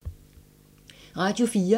Radio 4